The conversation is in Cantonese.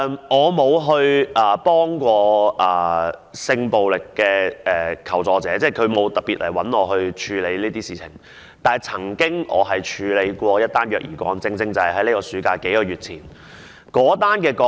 我不曾協助性暴力求助者，即他們沒有特別找我處理這些事情，但我曾處理一宗虐兒個案，正是在數個月前的暑期發生的。